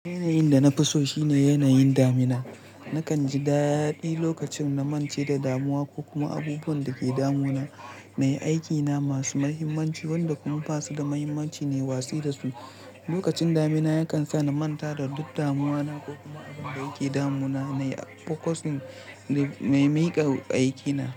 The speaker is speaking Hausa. Yanayin da na fi so shine yanayin damina. Nakan ji daɗi lokacin na mance da damuwa ko kuma abubuwan da ke damu na na yi aikina masu muhimmanci wanda kuma basu da muhimmanci nayi watsi da su. Lokacin damina yakan sa na manta da duk damuwana ko kuma abinda yake damuna na yi a fokosin na miƙa aikina.